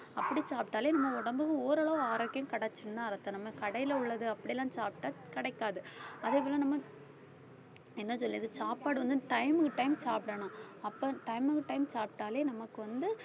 அப்படி சாப்பிட்டாலே நம்ம உடம்பு ஓரளவு ஆரோக்கியம் கிடைச்சுதுன்னு அர்த்தம் நம்ம கடையில உள்ளது அப்படியெல்லாம் சாப்பிட்டா கிடைக்காது அதே போல நம்ம என்ன சொல்றது சாப்பாடு வந்து time க்கு time சாப்பிடணும் அப்ப time க்கு time சாப்பிட்டாலே நமக்குவந்து